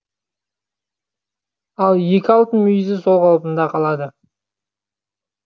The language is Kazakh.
ал екі алтын мүйізі сол қалпында қалады